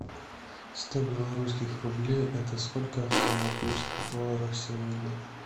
сто белорусских рублей это сколько в сингапурских долларах сегодня